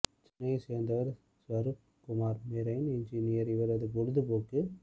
சென்னையைச் சேர்ந்தவர் Swaroop Kumar marine engineer இவரது பொழுது போக்கு